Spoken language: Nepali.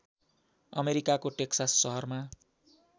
अमेरिकाको टेक्सस सहरमा